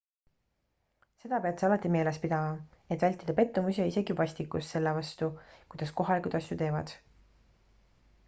seda pead sa alati meeles pidama et vältida pettumusi ja isegi vastikust selle vastu kuidas kohalikud asju teevad